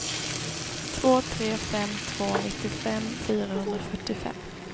två tre fem två nittiofem fyrahundrafyrtiofem